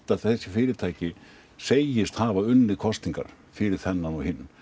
að þessi fyrirtæki segist hafa unnið kosningar fyrir þennan og hinn